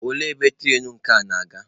Olee ebe turainu nke a na-aga?